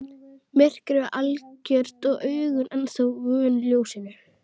Myrkrið var algjört og augun ennþá vön ljósinu.